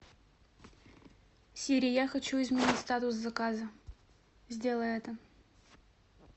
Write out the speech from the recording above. сири я хочу изменить статус заказа сделай это